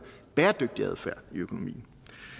bæredygtig adfærd i økonomien